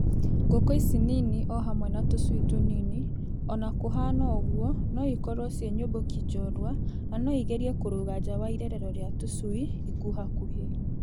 Ngũkũ ici nini o hamwe na tũcui tũnini, o na kũhana ũguo, no ĩkorwo ciĩ nyũmbũki njorua na no igeria kũrũga nja wa irerero rĩa tũcui ikuhakuhĩ.